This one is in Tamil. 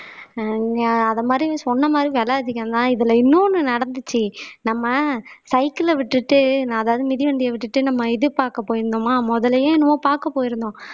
ஆஹ் அத மாதிரி சொன்ன மாதிரி விலை அதிகம்தான் இதுல இன்னொன்னு நடந்துச்சு நம்ம cycle ல விட்டுட்டு நான் ஏதாவது மிதிவண்டியை விட்டுட்டு நம்ம இது பார்க்க போயிருந்தோமா முதலையோ என்னமோ பார்க்க போயிருந்தோம்